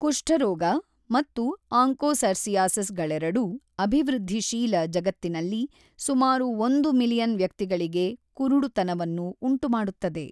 ಕುಷ್ಠರೋಗ ಮತ್ತು ಆಂಕೋಸರ್ಸಿಯಾಸಿಸ್‌ಗಳೆರಡೂ ಅಭಿವೃದ್ಧಿಶೀಲ ಜಗತ್ತಿನಲ್ಲಿ ಸುಮಾರು ಒಂದು ಮಿಲಿಯನ್ ವ್ಯಕ್ತಿಗಳಿಗೆ ಕುರುಡುತನವನ್ನು ಉಂಟುಮಾಡುತ್ತದೆ.